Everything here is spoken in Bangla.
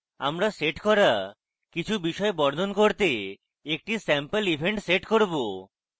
আমরা set করা কিছু বিষয় বর্ণন করতে একটি স্যাম্পল event set করব